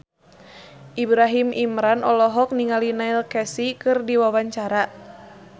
Ibrahim Imran olohok ningali Neil Casey keur diwawancara